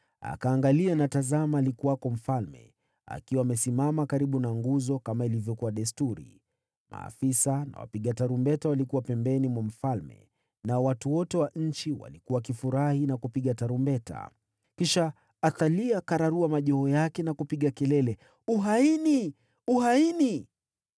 Akaangalia, na tazama alikuwako mfalme, akiwa amesimama karibu na nguzo, kama ilivyokuwa desturi. Maafisa na wapiga tarumbeta walikuwa pembeni mwa mfalme, nao watu wote wa nchi walikuwa wakifurahi na kupiga tarumbeta. Ndipo Athalia akararua mavazi yake na kulia, “Uhaini! Uhaini!”